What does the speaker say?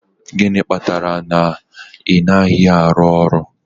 Gịnị kpatara na ị naghị arụ ọrụ